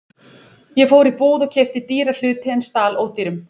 Ég fór í búð og keypti dýra hluti en stal ódýrum.